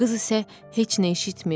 Qız isə heç nə eşitmir.